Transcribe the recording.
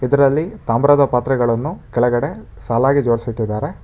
ಇದ್ರಲ್ಲಿ ತಾಮ್ರದ ಪಾತ್ರೆಗಳನ್ನು ಕೆಳಗಡೆ ಸಾಲಾಗಿ ಜೋಡ್ಸಿಟ್ಟಿದ್ದಾರೆ.